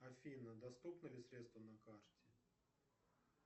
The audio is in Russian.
афина доступны ли средства на карте